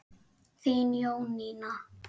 Þín Jónína.